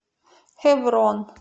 хеврон